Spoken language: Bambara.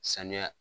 Sanuya